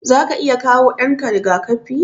Zaka iya kawo ɗanka riga-kafi?